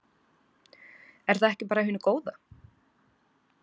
Er það ekki bara af hinu góð?